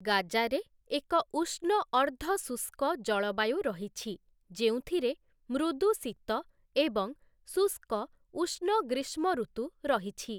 ଗାଜାରେ ଏକ ଉଷ୍ଣ ଅର୍ଦ୍ଧ ଶୁଷ୍କ ଜଳବାୟୁ ରହିଛି, ଯେଉଁଥିରେ ମୃଦୁ ଶୀତ ଏବଂ ଶୁଷ୍କ ଉଷ୍ଣ ଗ୍ରୀଷ୍ମଋତୁ ରହିଛି ।